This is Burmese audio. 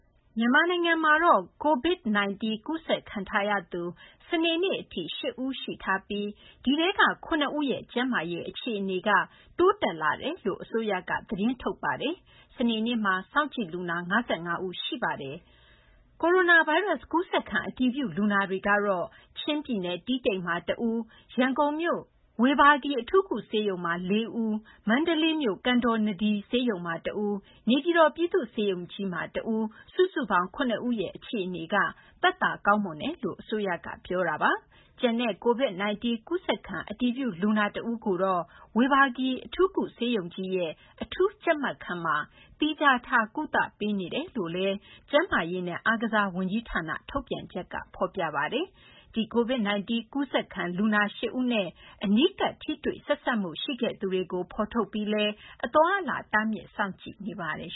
မြန်မာနိုင်ငံမှာ COVID-19 ကူးစက်ခံထားရသူ စနေနေ့အထိ ၈ ဦးရှိထားပြီး ဒီထဲက ၇ ဦးရဲ့ ကျန်းမာရေး အခြေအနေက တိုးတက်လာတယ်လို့ အစိုးရက သတင်းထုတ်ပါတယ်။ စနေနေ့မှာတော့ စောင့်ကြည့်လူနာ ၅၅ ဦး ရှိပါတယ်။ ကိုရိုနာဗိုင်းရပ်စ် ကူးစက်ခံ အတည်ပြု လူနာတွေကတော့ ချင်းပြည်နယ် တီးတိန်မှာ တဦး၊ ရန်ကုန်မြို့ ဝေဘာဂီ အထူးကုဆေးရုံမှာ ၄ ဦး၊ မန္တလေးမြို့ ကန်တော်နဒီ ဆေးရုံမှာ တဦး၊ နေပြည်တော် ပြည်သူ့ဆေးရုံကြီးမှာ တဦး စုစုပေါင်း ၇ ဦးရဲ့ အခြေအနေက သက်သာ ကောင်းမွန်တယ်လို့ အစိုးရက ပြောဆိုထားပါတယ်။ ကျန်တဲ့ COVID-19 ကူးစက်ခံ အတည်ပြုလူနာ တဦးကိုတော့ ဝေဘာဂီ အထူးကု ဆေးရုံကြီးရဲ့ အထူးကြပ်မတ်ခန်းမှာ သီးခြားထားပြီး ကုသပေးနေကြောင်းလည်း ကျန်းမာရေးနဲ့ အားကစားဝန်ကြီးဌာန ထုတ်ပြန်ချက်မှာ ဖော်ပြပါတယ်။ ဒီ COVID-19 ကူးစက်ခံ လူနာ ၈ ဦးနဲ့ အနီးကပ် ထိတွေ့ဆက်စပ်မှု ရှိခဲ့သူတွေကို ဖော်ထုတ်ပြီးလည်း အသွားအလာ တားမြစ် စောင့်ကြည့်နေပါတယ်